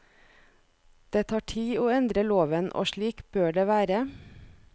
Det tar tid å endre loven, og slik bør det være.